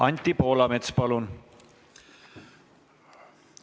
Anti Poolamets, palun!